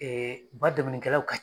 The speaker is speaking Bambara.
ba dɛmɛnnikɛlaw ka ca.